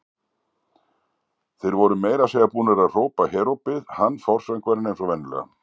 Þeir voru meira að segja búnir að hrópa herópið, hann forsöngvarinn eins og venjulega.